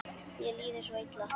Mér líður svo illa.